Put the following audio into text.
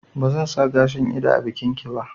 Ba zan sa gashin ido a bikin ki ba